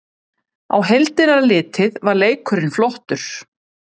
Á heildina litið var leikurinn flottur